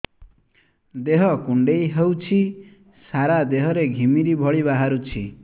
ଦେହ କୁଣ୍ଡେଇ ହେଉଛି ସାରା ଦେହ ରେ ଘିମିରି ଭଳି ବାହାରୁଛି